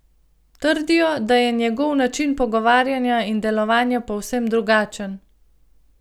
Trdijo, da je njegov način pogovarjanja in delovanja povsem drugačen.